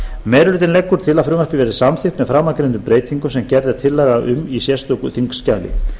meiri hlutinn leggur til að frumvarpið verði samþykkt með framangreindum breytingum sem gerð er tillaga um í sérstöku þingskjali